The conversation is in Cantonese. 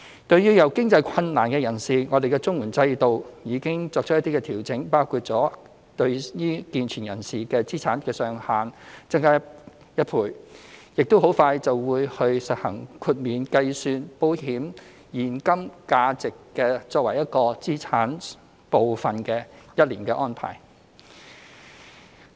對於有經濟困難的人士，綜援制度已作出一些調整，包括將健全人士申領綜援的資產上限增加1倍，亦很快會實行豁免計算新申請人的所有保險計劃的現金價值作為資產一部分的安排，豁免期為一年。